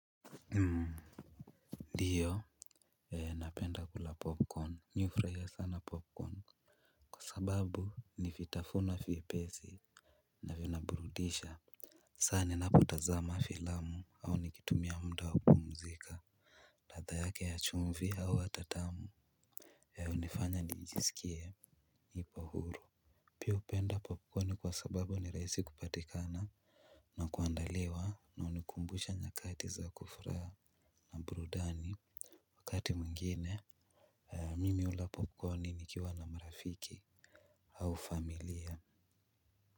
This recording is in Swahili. Ndiyo, napenda kula popcorn, mi hufarahia sana popcorn. Sababu, ni vitafuno vyepesi na vinaburudisha sani ninapo tazama filamu au nikitumia muda wa kupumzika. Ladha yake ya chumvi au hata tamu, hunifanya niijisikie nipo huru. Pia hupenda popcorn kwa sababu ni rahisi kupatikana na kuandaliwa, na hunikumbusha nyakati za kufuraha na burudani. Wakati mwengine, mimi hula popcorni nikiwa na marafiki, au familia.